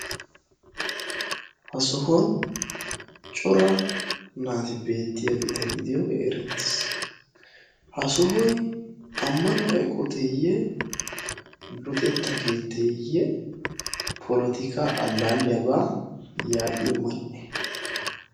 ha sohuwaan cora naati beettiyaageta gidiyoogee erettiis. ha sohoy ammanuwaa eqqoteeyee? luxxetta keetteeye polotikka allaliyaaba yaa'iyoo mani"ee?